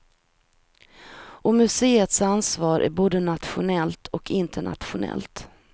Och museets ansvar är både nationellt och internationellt.